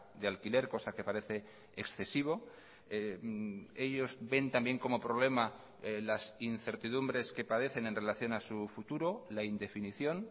de alquiler cosa que parece excesivo ellos ven también como problema las incertidumbres que padecen en relación a su futuro la indefinición